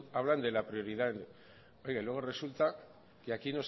hablan de la prioridad y oiga luego resulta que aquí